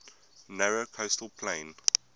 narrow coastal plain